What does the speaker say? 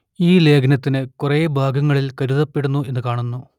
ഈ ലേഖനത്തിൽ കുറെ ഭാഗങ്ങളിൽ കരുതപ്പെടുന്നു എന്ന് കാണുന്നു